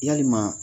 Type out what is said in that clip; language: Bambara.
Yalima